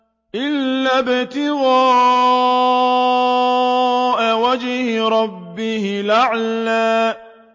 إِلَّا ابْتِغَاءَ وَجْهِ رَبِّهِ الْأَعْلَىٰ